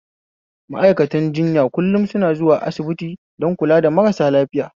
Ma'aikatan jiyan kullum suna zuwa asibiti don kula da marasa lafiya